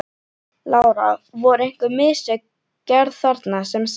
Lára: Voru einhver mistök gerð þarna sem sagt?